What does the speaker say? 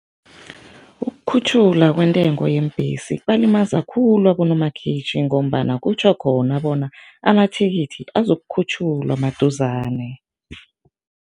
Ukukhutjhulwa kwentengo yeembhesi kubalimaza khulu abonomakhitjhi ngombana kutjho khona bona amathikithi azokukhutjhulwa maduzane.